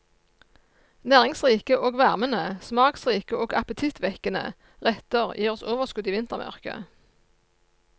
Næringsrike og varmende, smaksrike og appetittvekkende retter gir oss overskudd i vintermørket.